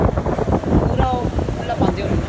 ਪੂਰਾ ਉਹ ਖੁੱਲਾ ਪਾਉਂਦੇ ਹੋਣੇ ਨਾ